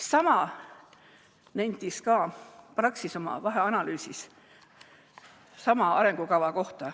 Sama nentis ka Praxis oma vaheanalüüsis sama arengukava kohta.